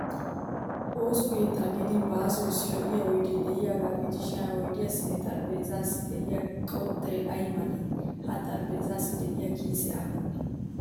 Ooso keettan gidin basso issi lo'yaa oydee de'iyaagaa gidishin ha oydiyaassinne xaraphpheezzaassi de'iya qottay ay male? Ha xarapheezzaassi de'iya kiisee aappunee?